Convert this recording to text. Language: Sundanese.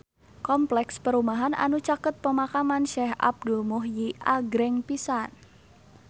Kompleks perumahan anu caket Pemakaman Syekh Abdul Muhyi agreng pisan